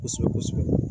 Kosɛbɛ kosɛbɛ